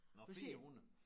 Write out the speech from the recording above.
Nåh 400